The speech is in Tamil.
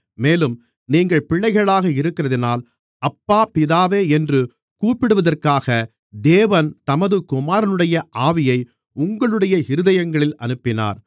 மேலும் நீங்கள் பிள்ளைகளாக இருக்கிறதினால் அப்பா பிதாவே என்று கூப்பிடுவதற்காக தேவன் தமது குமாரனுடைய ஆவியை உங்களுடைய இருதயங்களில் அனுப்பினார்